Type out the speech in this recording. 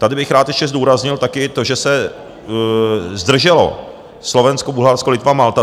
Tady bych rád ještě zdůraznil také to, že se zdrželo Slovensko, Bulharsko, Litva, Malta.